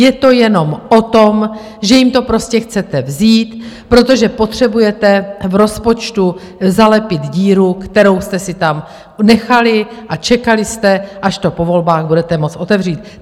Je to jenom o tom, že jim to prostě chcete vzít, protože potřebujete v rozpočtu zalepit díru, kterou jste si tam nechali, a čekali jste, až to po volbách budete moct otevřít.